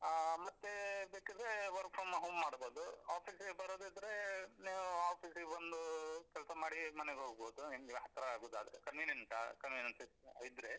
ಆ ಮತ್ತೆ ಬೇಕಿದ್ರೆ work from home ಮಾಡ್ಬೋದು office ಗೆ ಬರೋದಿದ್ರೆ ನೀವು office ಗೆ ಬಂದು ಅಹ್ ಕೆಲ್ಸ ಮಾಡಿ ಮನೆಗ್ ಹೋಗ್ಬೋದು ನಿಮ್ಗೆ ಹತ್ರ ಆಗುದಾದ್ರೆ convenient ಆ convenient ಅಹ್ ಇದ್ರೆ.